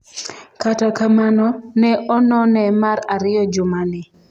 kata kamano, ne onone mar ariyo juma ni